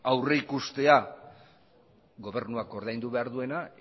aurrikustea gobernuak ordaindu behar duena